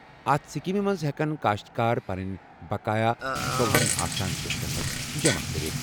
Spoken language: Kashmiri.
اَتھ سکیمہِ منٛز ہٮ۪کَن کٔاشتٕکار پَنٕنۍ بقایہ ژُۄہنَ آسان قٕستَن منٛز جمع کٔرِتھ۔